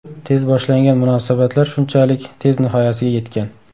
Tez boshlangan munosabatlar shunchalik tez nihoyasiga yetgan.